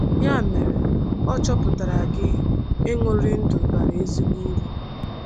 Ya mere, ọ̀ chọpụtara gị ịṅụrị ndụ bara ezigbo uru?